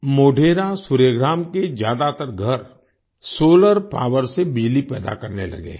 मोढेरा सूर्य ग्राम के ज्यादातर घर सोलर पावर से बिजली पैदा करने लगे हैं